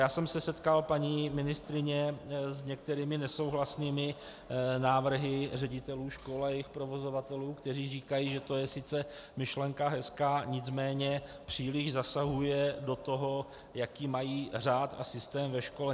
Já jsem se setkal, paní ministryně, s některými nesouhlasnými návrhy ředitelů škol a jejich provozovatelů, kteří říkají, že to je sice myšlenka hezká, nicméně příliš zasahuje do toho, jaký mají řád a systém ve škole.